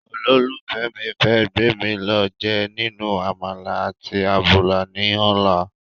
olófùfẹ́ mi fẹ́ gbémi lọ jẹ ninu àmàlà àti àbùlà ní ọ̀la